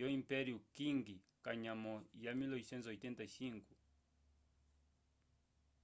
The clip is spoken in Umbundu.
yo impeio qing kanyamo ya 1885